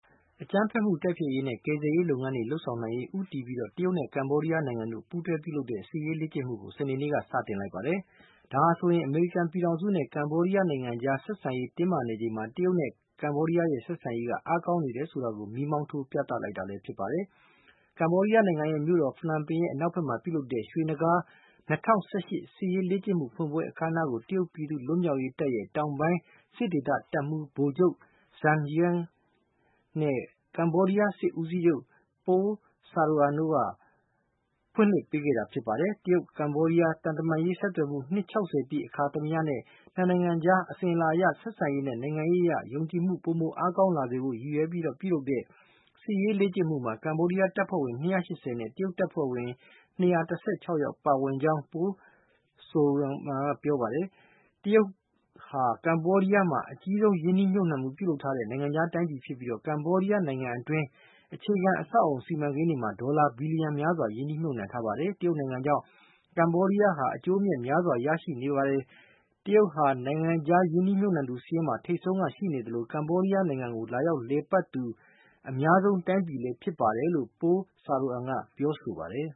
အကြမ်းဖက်မှုတိုက်ဖျက်ရေးနဲ့ ကယ်ဆယ်ရေး လုပ်ငန်းတွေလုပ်ဆောင်နိုင်ရေးဦးတည်ပြီး တရုတ်နဲ့ ကမ္ဘောဒီယား နှစ်နိုင်ငံပူးတွဲပြီး စစ်ရေးလေ့ကျင့်မှုကို စနေနေ့က စလုပ်ပါတယ်။ ဒါဟာဆိုရင် အမေရိကန်ပြည်ထောင်စုနဲ့ ကမ္ဘောဒီးယားနိုင်ငံအကြား ဆက်ဆံရေး တင်းမာနေချိန်မှာ တရုတ်နဲ့ ကမ္ဘောဒီးယားရဲ့ ဆက်ဆံရေး အားကောင်းနေတယ် ဆိုတာကို မီးမောင်းထိုးပြသလိုက်တာလည်းဖြစ်ပါတယ်။ ကမ္ဘောဒီးယား နိုင်ငံ မြို့တော် ဖနွမ်ပင် အနောက်ဖက် မှာ ပြုလုပ်တဲ့ ရွှေနဂါး ၂၀၁၈ စစ်ရေးလေ့ကျင့်မှု ဖွင့်ပွဲ အခမ်းနားကို တရုတ်ပြည်သူ့လွတ်မြောက်ရေးတပ်ရဲ့ တောင်ပိုင်းစစ်ဒေသ တပ်မှူး ဗိုလ်ချုပ် Zhang Jian ၊ ကမ္ဘောဒီးယားစစ်ဦးစီးချုပ် Pol Saroeun တို့က ဖွင့်လှစ်ပေးခဲ့တာပါ။ တရုတ်-ကမ္ဘောဒီးယား သံတမန်ရေးဆက်သွယ်မှု နှစ် ၆၀ ပြည့် အခါသမယနဲ့ နှစ်နိုင်ငံအကြား အစဉ်အလာအရ ဆက်ဆံရေးနဲ့ နိုင်ငံရေးအရ ယုံကြည်မှု ပိုမိုအားကောင်းလာစေဖို့ ရည်ရွယ်ပြီး ပြုလုပ်တဲ့ စစ်ရေးလေ့ကျင့်မှုမှာ ကမ္ဘောဒီးယား တပ်ဖွဲ့ဝင် ၂၈၀ နဲ့ တရုတ်တပ်ဖွဲ့ဝင် ၂၁၆ ယောက် ပါဝင်ကြောင်း Pol Saroeum က ပြောပါတယ်။ တရုတ်ဟာ ကမ္ဘောဒီးယားမှာ အကြီးမားဆုံးရင်းနှီး မြှုပ်နှံမှုပြုလုပ်ထားတဲ့ နိုင်ငံခြားတိုင်းပြည်ဖြစ်ပြီး ကမ္ဘောဒီးယားနိုင်ငံတွင်း အခြေခံအဆောက်အုံ စီမံကိန်းတွေမှာ ဒေါ်လာဘီလီယံများစွာ ရင်းနှီးမြှုပ်နှံထားပါတယ်။ တရုတ်နိုင်ငံကြောင့် ကမ္ဘောဒီးယားဟာ အကျိုးအမြတ်များစွာရရှိနေပါတယ်၊ တရုတ်ဟာ နိုင်ငံခြားရင်းနှီးမြှုပ်နှံသူစာရင်းမှာ ထိပ်ဆုံးက ရှိနေသလို ကမ္ဘောဒီးယားနိုင်ငံကို လာရောက်လည်ပတ်သူ အများဆုံးတိုင်းပြည်လည်း ဖြစ်ပါတယ်လို့ Pol Saroeum က ပြောပါတယ်